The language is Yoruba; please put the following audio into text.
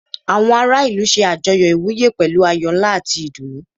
Àwọn ará ìlú ṣe àjọyọ̀ ìwúyè pẹ̀lú ayọ̀ ńlá àti ìdùnnú.